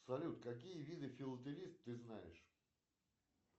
салют какие виды филателист ты знаешь